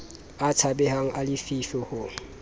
a tshabehang a lefifi ho